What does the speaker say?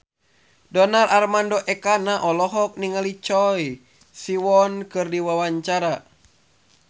Donar Armando Ekana olohok ningali Choi Siwon keur diwawancara